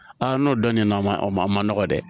n'o dɔnn'a ma o ma a ma nɔgɔ dɛ